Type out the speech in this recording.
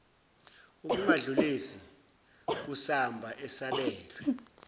ukungadlulisi kusamba esabelwe